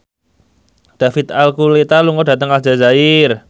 David Archuletta lunga dhateng Aljazair